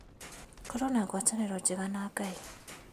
Korwo na ngwatanĩro njega na Ngai